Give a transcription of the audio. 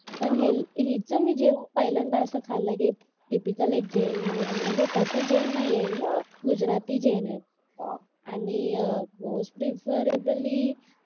पण हिच मी जेवण पहिल्यांदा असं खाल्लं की टिपिकल एक जैन मधून म्हणजे तसं जैन नाहीये ही गुजराती जैन आहे आणि अह मोस्ट पीपलइनबली